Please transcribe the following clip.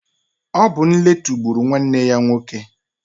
Ọ bu nletu gbụrụ nwanne ya nwoke.